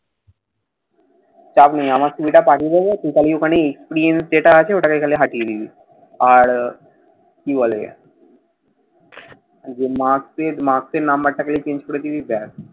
চাপ নেই। আমার CV টা পাঠিয়ে দিব। তুই খালি ওখানে experience যেটা আছে ওটাকে খালি হাটিয়ে দিবি। আর, কি বলে? ঐযে marks এর marks এর number টা খালি change করে দিবি। ব্যাস।